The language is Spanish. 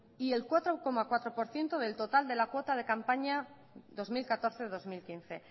y el cuatro coma cuatro por ciento del total de la cuota de campaña dos mil catorce dos mil quince